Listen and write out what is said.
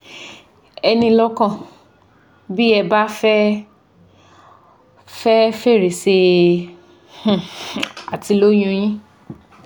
Ẹ ní i lọ́kàn bí ẹ bá fẹ́ fẹ fèrèsé um àti lóyún un yín